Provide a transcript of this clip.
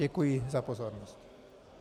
Děkuji za pozornost.